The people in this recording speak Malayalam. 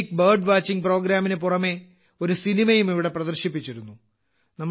യുണീക്ക് ബേർഡ് വാച്ചിംഗ് പ്രോഗ്രാമിന് പുറമെ ഒരു സിനിമയും ഇവിടെ പ്രദർശിപ്പിച്ചിരുന്നു